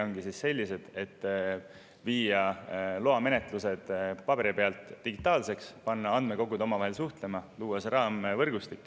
paberil loamenetlused digitaalseks, panna andmekogud omavahel suhtlema, luua see raamvõrgustik.